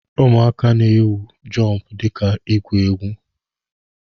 Ụmụaka na-awụ jọmpụ dika igwu egwu.